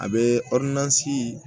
A bɛ